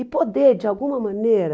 E poder, de alguma maneira,